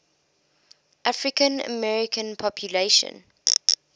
african american population